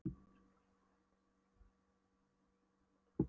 Lögreglumennirnir fylgdust undrandi með, opinmynntir og nokkrir kjálkar sigu.